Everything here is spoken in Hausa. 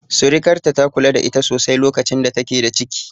Surikarta, ta kula da ita sosai lokacin da take da ciki.